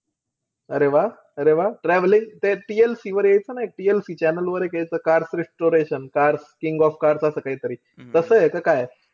अरे वाह-अरे वाह. Travelling ते TLC वर यायचं ना एक. TLC channel वर एक यायचं cars restoration cars king of cars असं काहीतरी. तसंय का काय?